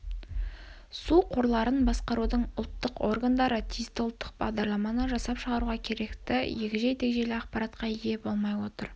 су қорларын басқарудың ұлттық органдары тиісті ұлттық бағдарламаны жасап шығаруға керекті егжей-тегжейлі ақпаратқа ие болмай отыр